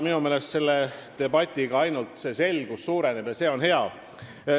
Minu meelest selle debatiga selgus suureneb ja see on hea.